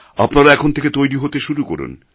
আপনারা এখন থেকে তৈরি হতে শুরু করুন